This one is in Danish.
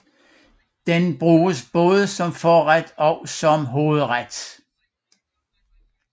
Den bruges både som forret og som hovedret